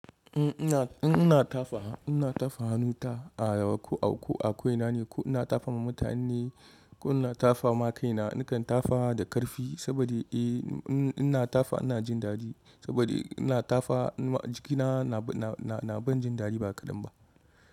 In, ina tafawa, in ina tafa hannu ta a rawa ko a ko i nane ai, ko ina tafa ma mutane ne, ko ina tafa ma kaina. Nakan tafawa da ƙarfi saboda eh ina tafa ina jin daɗi saboda ina tafa jikina na ban jin daɗi ba kaɗan ba.